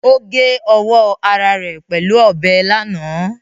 Ó gé ọwọ́ ara rẹ̀ pẹ̀lú ọbẹ̀ lánàá